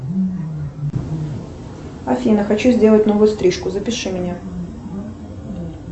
афина хочу сделать новую стрижку запиши меня